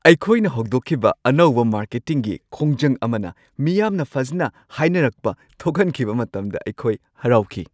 ꯑꯩꯈꯣꯏꯅ ꯍꯧꯗꯣꯛꯈꯤꯕ ꯑꯅꯧꯕ ꯃꯥꯔꯀꯦꯇꯤꯡꯒꯤ ꯈꯣꯡꯖꯪ ꯑꯃꯅ ꯃꯤꯌꯥꯝꯅ ꯐꯖꯅ ꯍꯥꯏꯅꯔꯛꯄ ꯊꯣꯛꯍꯟꯈꯤꯕ ꯃꯇꯝꯗ ꯑꯩꯈꯣꯏ ꯍꯔꯥꯎꯈꯤ ꯫